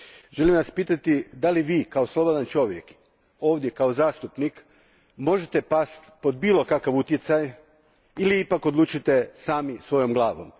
Želim vas pitati da li vi kao slobodan čovjek, kao zastupnik, možete pasti pod bilo kakav utjecaj ili ipak odlučujete sami svojom glavom?